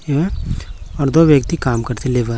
यहां और दो व्यक्ति काम करते लेब--